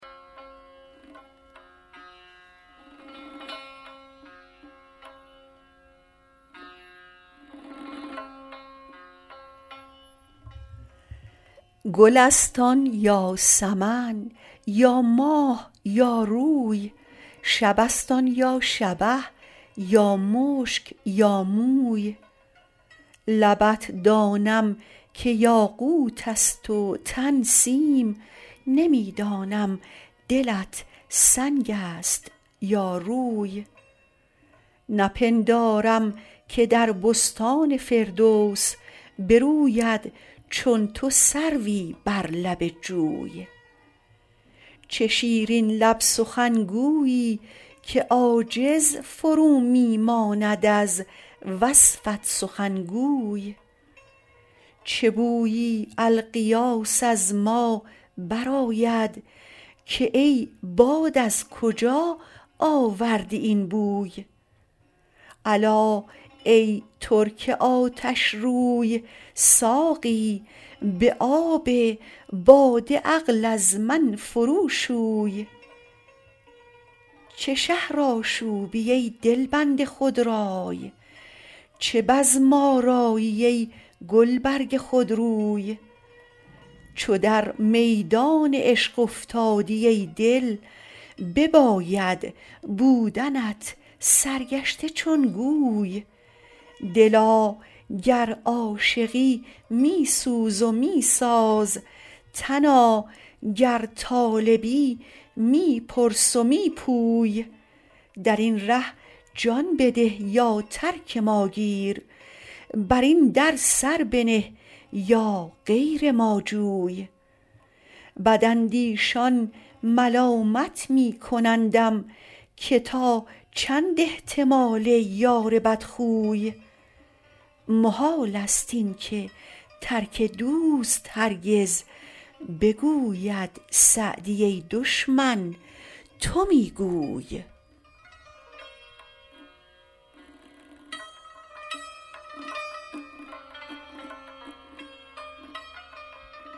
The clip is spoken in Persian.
گل است آن یا سمن یا ماه یا روی شب است آن یا شبه یا مشک یا موی لبت دانم که یاقوت است و تن سیم نمی دانم دلت سنگ است یا روی نپندارم که در بستان فردوس بروید چون تو سروی بر لب جوی چه شیرین لب سخنگویی که عاجز فرو می ماند از وصفت سخنگوی به بویی الغیاث از ما برآید که ای باد از کجا آوردی این بوی الا ای ترک آتشروی ساقی به آب باده عقل از من فرو شوی چه شهرآشوبی ای دلبند خودرای چه بزم آرایی ای گلبرگ خودروی چو در میدان عشق افتادی ای دل بباید بودنت سرگشته چون گوی دلا گر عاشقی می سوز و می ساز تنا گر طالبی می پرس و می پوی در این ره جان بده یا ترک ما گیر بر این در سر بنه یا غیر ما جوی بداندیشان ملامت می کنندم که تا چند احتمال یار بدخوی محال است این که ترک دوست هرگز بگوید سعدی ای دشمن تو می گوی